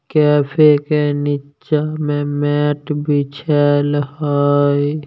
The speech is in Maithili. कैफे के नीचे में मेट बिछाल हई।